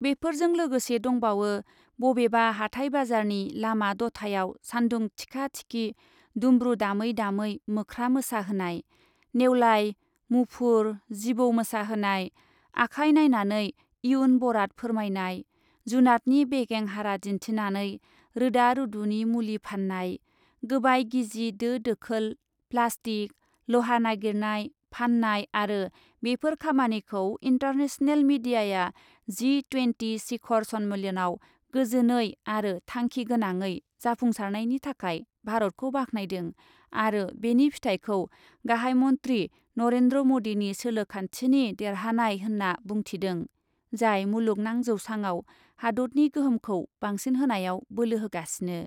बेफोरजों लोगोसे दंबावो, बबेबा हाथाय बाजारनि लामा दथायाव सान्दुं थिखा थिखि दुमब्रु दामै दामै मोख्रा मोसाहोनाय , नेवलाइ, मुफुर, जिबौ मोसाहोनाय , आखाइ नायनानै इयुन बराद फोरमायनाय , जुनातनि बेगें हारा दिन्थिनानै रोदा रुदुनि मुलि फान्नाय , गोबाय गिजि दो दोखोल , प्लाष्टिक , लहा नागिरनाय , फान्नाय आरो बेफोर खामानिखौ इन्टारनेसनेल मिडियाआ जि ट्वेनटि शिखर सन्मेलनआ गोजोनै आरो थांखि गोनाङै जाफुंसारनायनि थाखाय भारतखौ बाख्नायदों आरो बेनि फिथायखौ गाहाइ मन्ध्रि नरेन्द्र मदिनि सोलोखान्थिनि देरहानाय होन्ना बुंथिदों , जाय मुलुगनां जौसाङाव हादतनि गोहोमखौ बांसिनहोनायाव बोलो होगासिनो ।